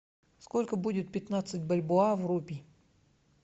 сколько будет пятнадцать бальбоа в рупии